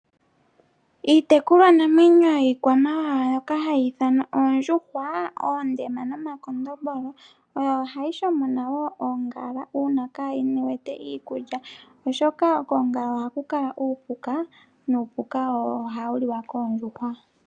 Iitekulwanamwenyo mbyoka hayi ithanwa oondjuhwa oondema nomakondombolo oyo hayi shomona oongala uuna kayi wete iikulya oshoka koongala ohaku kala uupuka nuupuka owo hawu liwa koondjuhwa.